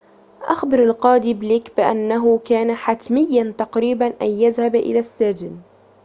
أخبر القاضي بليك بأنه كان حتميّاً تقريباً أن يذهب إلى السجن